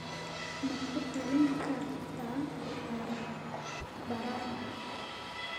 Ma ku talin kartaa baararka?